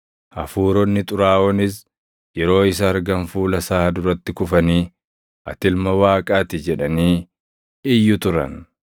Hafuuronni xuraaʼoonis yeroo isa argan fuula isaa duratti kufanii, “Ati Ilma Waaqaa ti!” jedhanii iyyu turan.